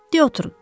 De oturun.